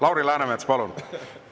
Lauri Läänemets, palun!